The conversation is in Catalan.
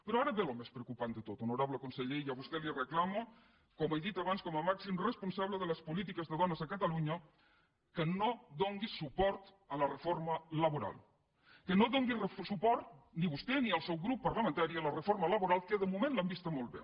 però ara ve el més preocupant de tot honorable conseller i a vostè li reclamo com he dit abans com a màxim responsable de les polítiques de dones a catalunya que no doni suport a la reforma laboral que no doni suport ni vostè ni el seu grup parlamentari a la reforma laboral que de moment l’han vista molt bé